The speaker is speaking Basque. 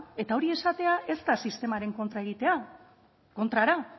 eta hori esatea ez da sistemaren kontra egitea kontrara